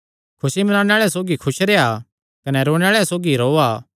खुसी मनाणे आल़ेआं सौगी खुस रेह्आ कने रोणे आल़ेआं सौगी रोआ